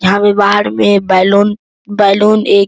यहाँ पे बाहर में बैलून बैलून एक --